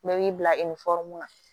Bɛɛ b'i bila na